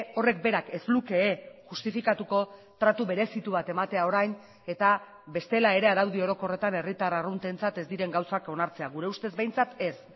horrek berak ez luke justifikatuko tratu berezitu bat ematea orain eta bestela ere araudi orokorretan herritar arruntentzat ez diren gauzak onartzea gure ustez behintzat ez